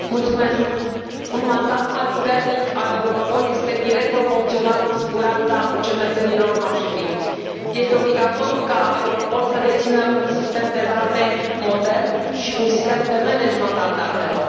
Domnule președinte, un mandat mai puternic al Europol este direct proporțional cu siguranța cetățenilor noștri. Este obligatoriu ca Europol să dețină un sistem de date modern și un sistem de management al datelor.